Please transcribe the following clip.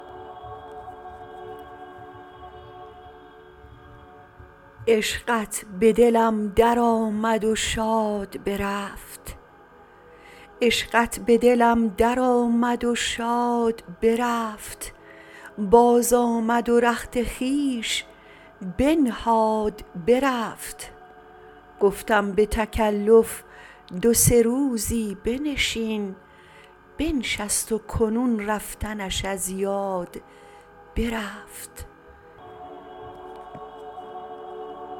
عشقت به دلم درآمد و شاد برفت بازآمد و رخت خویش بنهاد برفت گفتم به تکلف دو سه روزی بنشین بنشست و کنون رفتنش از یاد برفت